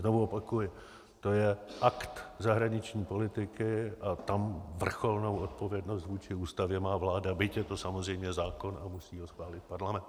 Znovu opakuji, to je akt zahraniční politiky a tam vrcholnou odpovědnost vůči Ústavě má vláda, byť je to samozřejmě zákon a musí ho schválit parlament.